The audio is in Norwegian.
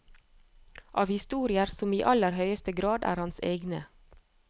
Av historier som i aller høyeste grad er hans egne.